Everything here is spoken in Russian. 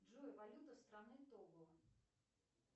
джой валюта страны того